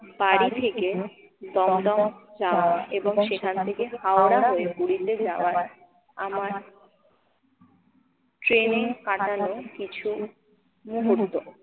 বাড়ি থেকে দমদম যাওয়া এবং সেখান থেকে হাওড়া হয়ে পুরিতে যাওয়া আমার ট্রেনে কাটানো কিছু মুহূর্ত।